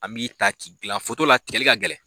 An b'i taa k'i gilan la tigɛli ka gɛlɛn.